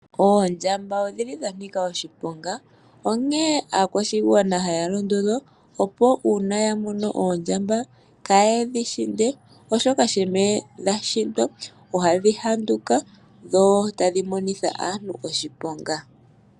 Oondjamba odhili dha nika oshiponga, onkene aakwashigwana haya londodhwa, opo uuna ya mono oondjamba kaayedhi hinde, oshoka shampa dha hindwa ohadhi geye dho tadhi monitha aantu oshiponga.